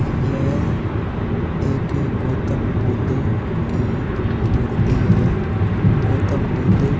यह एक गौतम बुद्ध की मूर्ति है गौतम बुद्ध --